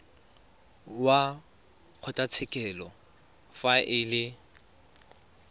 wa kgotlatshekelo fa e le